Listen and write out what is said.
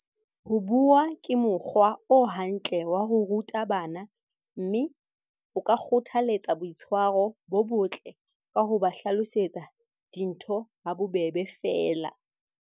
Ho bua ke mokgwa o hantle wa ho ruta bana mme o ka kgotha letsa boitshwaro bo botle ka ho ba hlalosetsa dintho ha bobebe feela.